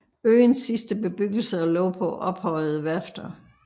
Øens sidste bebyggelser lå på ophøjede værfter